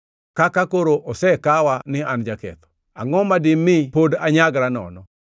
Kaka koro osekawa ni an jaketho, angʼo ma dimi pod anyagra nono?